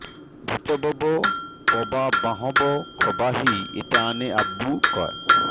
ৰাজোই ভিতৰৰ পৰা বাঁহৰ খৰাহী এটা আনে আৰু কয়